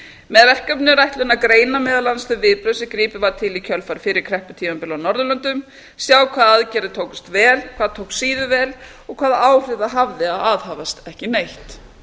með verkefninu er ætlunin að greina meðal annars þau viðbrögð sem gripið var til fyrri krepputímabila á norðurlöndum sjá hvaða aðgerðir tókust vel hvað tókst síður vel og hvaða áhrif það hafði að aðhafast ekki neitt